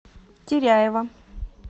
теряева